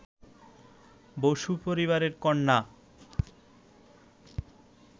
বসু পরিবারের কন্যা